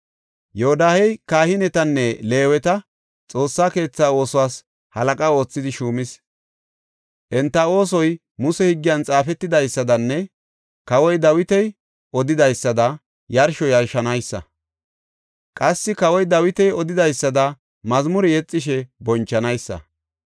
Yoodahey kahinetanne Leeweta Xoossa keetha oosuwas halaqa oothidi shuumis. Enta oosoy Muse higgiyan xaafetidaysadanne kawoy Dawiti odidaysada yarsho yarshanaysa. Qassi kawoy Dawiti odidaysada mazmure yexishe bonchanaysa.